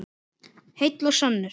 Heill og sannur.